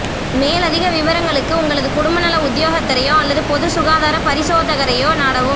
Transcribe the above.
மேலதிக விபரங்களுக்கு உங்களது குடும்பநல உத்தியோகத்தரையோ அல்லது பொதுச்சுகாதார பரிசோதகரையோ நாடவும்